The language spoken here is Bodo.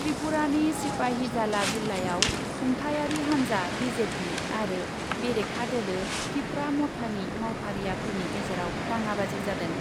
त्रिपुरानि सिपाहिजाला जिल्लायाव खुंथायारि हान्जा बिजेपि आरो बेरेखा दोलो तिपरा मथानि मावफारियाफोरनि गेजेराव दाङाबाजि जादों ।